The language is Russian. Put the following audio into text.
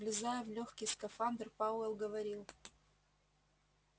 влезая в лёгкий скафандр пауэлл говорил